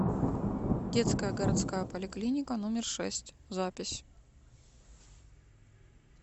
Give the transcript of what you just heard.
детская городская поликлиника номер шесть запись